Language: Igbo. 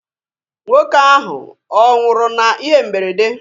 Nwoke ahụ ọ nwụrụ na ihe mberede?